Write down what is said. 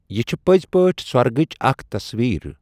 یہِ چھِ پٔزؠ پأٹھی سۄرگچ اَکھ تصویر۔